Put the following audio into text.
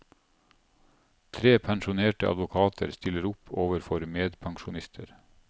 Tre pensjonerte advokater stiller opp overfor medpensjonister.